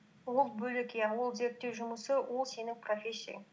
ол бөлек иә ол зерттеу жұмысы ол сенің профессияң